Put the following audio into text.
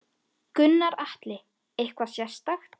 Gunnar Atli: Eitthvað sérstakt?